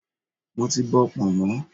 Mo ti bọ pọ̀nmọ́.